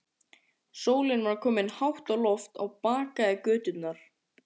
Sólin var komin hátt á loft og bakaði göturnar.